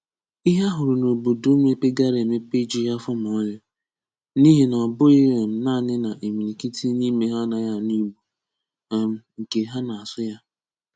Íhè a hụrụ n’òbòdò mépègarà emèpè èjùghị àfọ mà òlì, n’íhè nà ọ̀ bụ̀ghị̀ um nāánị́ na ìmìlìkìtì n’ímè hà ànàghị ànụ́ Ìgbò, um nke hà na-asụ̀ ya.